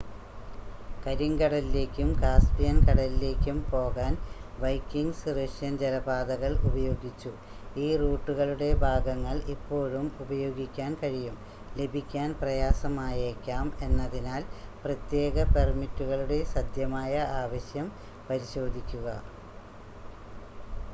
കരിങ്കടലിലേക്കും Caspian കടലിലേക്കും പോകാൻ Vikings Russian ജലപാതകൾ ഉപയോഗിച്ചു ഈ റൂട്ടുകളുടെ ഭാഗങ്ങൾ ഇപ്പോഴും ഉപയോഗിക്കാൻ കഴിയും ലഭിക്കാൻ പ്രയാസമായേക്കാം എന്നതിനാൽ പ്രത്യേക പെർമിറ്റുകളുടെ സധ്യമായ ആവശ്യം പരിശോധിക്കുക